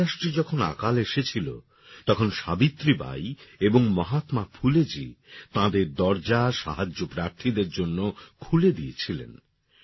মহারাষ্ট্রে যখন আকাল এসেছিল তখন সাবিত্রী বাঈ এবং মহাত্মাফুলেজী তাঁদের দরজা সাহায্যপ্রার্থীদের জন্যে খুলে দিয়েছিলেন